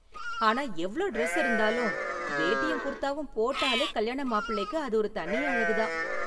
ஆனா எவ்ளோ டிரஸ் இருந்தாலும், வேட்டியும் குர்தாவும் போட்டாலே கல்யாண மாப்பிள்ளைக்கு அது ஒரு தனி அழகு தான்.